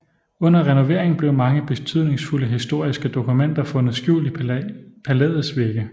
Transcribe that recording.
Under renovering blev mange betydningsfulde historiske dokumenter fundet skjult i palæets vægge